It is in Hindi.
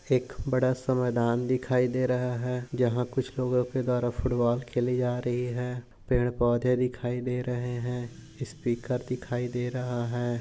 एक बड़ा सा मैदान दिखाई दे रहा है जहा कुछ लोगो के द्वारा फूटबॉल खेली जा रही है पेड़ पौधे दिखाई दे रहे है स्पीकर दिखाई दे रहा है।